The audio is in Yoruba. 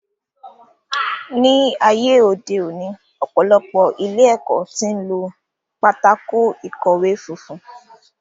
Ní ayé òde òní, ọ̀pọ̀lọpọ̀ ilé ẹ̀kọ́ tí ń lo pátákó ìkọ̀wẹ́ funfun